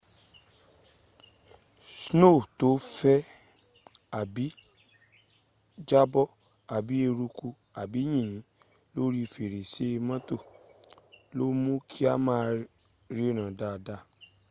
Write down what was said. sno to n fe abi jabo abi eruku abi yinyin lori ferese moto le mu ki a ma riran daa daa